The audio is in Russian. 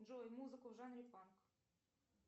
джой музыку в жанре панк